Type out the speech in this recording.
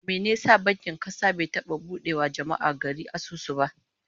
Mene ya sa bankin kasa bai taba bude wa jama'ar gari asusu ba?